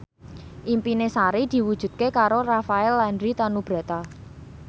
impine Sari diwujudke karo Rafael Landry Tanubrata